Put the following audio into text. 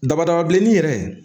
Dama dama bilenman in yɛrɛ